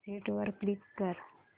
exit वर click कर